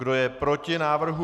Kdo je proti návrhu?